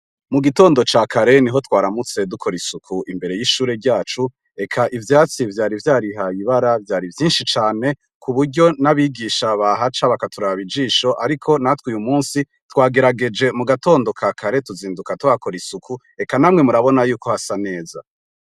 Mu gitondo ca kareni ho twaramutse dukora isuku imbere y'ishure ryacu eka ivyatsi vyari vya rihaye ibara vyari vyinshi cane ku buryo n'abigisha ba haca bakaturi abijisho, ariko natwe uyu musi twagerageje mu gatondo ka kare tuzinduka twakora isuku eka namwe murabona yuko hasa neza.